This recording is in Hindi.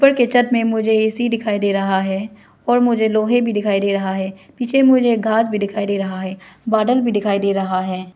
ऊपर के छत में मुझे ए_सी दिखाई दे रहा है और मुझे लोहे भी दिखाई दे रहा है पीछे मुझे घास भी दिखाई दे रहा है बादल भी दिखाई दे रहा है।